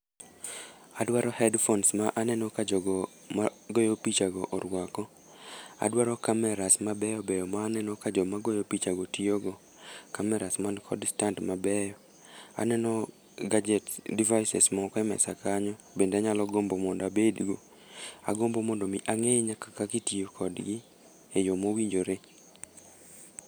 Adwaro headphones ma aneno ka jogo ma goyo picha go orwako. Adwaro cameras mabeyo beyo ma aneno ka joma goyo pichago tiyogo. Cameras mani kod stand mabeyo. Aneno gadgets, devices moko e mesa kanyo bende anyalo gombo mondo abedgo. Agombo mondo mi, angé nyaka kaka itiyo kodgi e yo mowinjore.